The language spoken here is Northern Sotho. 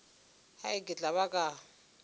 hai ke tla ba ka